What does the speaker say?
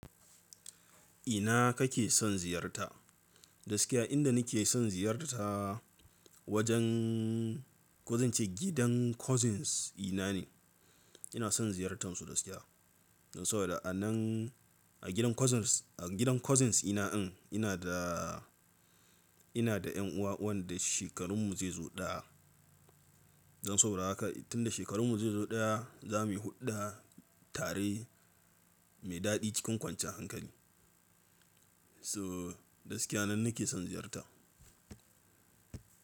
Ina kake son ziyarta? Gaskiya inda nake son ziyarta wajen ko zance gidan cousins ina ne. Ina son ziyartansu gaskiya. Don saboda a nan a gidan cousins, a gidan cousins ina in ina da, ina da yanuwa wanda shekarun mu zai zo ɗaya. Don saboda haka tun da shekarun mu zai zo ɗaya za muyi huɗa tare mai daɗi cikin kwanciya hankali. So gaskiya nan nake son ziyarta.